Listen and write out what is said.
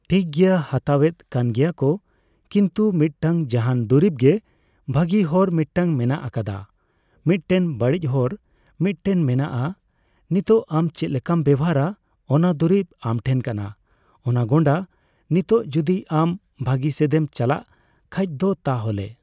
ᱴᱷᱤᱠᱜᱮᱭᱟ ᱦᱟᱛᱟᱣᱮᱫ ᱠᱟᱱᱜᱮᱭᱟᱠᱚ ᱠᱤᱱᱛᱩ ᱢᱤᱫᱴᱟᱝ ᱡᱟᱦᱟᱱ ᱫᱩᱨᱤᱵᱜᱮ ᱵᱷᱟᱜᱤ ᱦᱚᱨ ᱢᱤᱫᱴᱟᱝ ᱢᱮᱱᱟᱜ ᱟᱠᱟᱫᱟ ᱢᱤᱫᱮᱴ ᱵᱟᱹᱲᱤᱡ ᱦᱚᱨ ᱢᱤᱫᱴᱮᱱ ᱢᱮᱱᱟᱜ ᱟ ᱱᱤᱛᱚᱜ ᱟᱢ ᱪᱮᱫᱞᱮᱠᱟᱢ ᱵᱮᱣᱦᱟᱨᱟ ᱚᱱᱟ ᱫᱩᱨᱤᱵ ᱟᱢᱴᱷᱮᱱ ᱠᱟᱱᱟ ᱚᱱᱟᱜᱚᱸᱰᱟ ᱾ ᱱᱤᱛᱚᱜ ᱡᱚᱫᱤ ᱟᱢ ᱵᱷᱟᱜᱤᱥᱮᱫᱮᱢ ᱪᱟᱞᱟᱜ ᱠᱷᱟᱡ ᱫᱚ ᱛᱟᱦᱚᱞᱮ ᱾